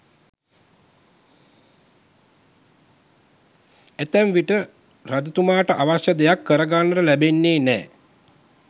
ඇතැම් විට රජතුමාට අවශ්‍ය දෙයක් කරගන්නට ලැබෙන්නේ නෑ.